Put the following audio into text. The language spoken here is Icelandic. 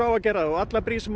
á að gera það og allar brýr sem